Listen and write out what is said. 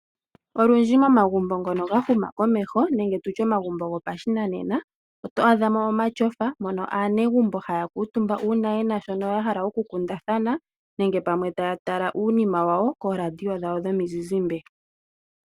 Olundji momagumbo ngono ga huma komeho nenge tutye omagumbo gopashinanena, oto adha mo omatyofa mono aanegumbo haa kuutumba uuna yena shono ya hala okukundathana nenge pamwe taya tala uunima wawo kooradio dhawo dhomizizimbe.